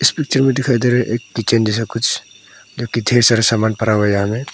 picture में दिखाई दे रहा है एक किचन जैसा कुछ जो कि ढेर सारा सामान पड़ा हुआ है यहां पे--